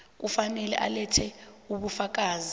kufanele alethe ubufakazi